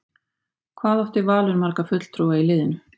Hvað átti Valur marga fulltrúa í liðinu?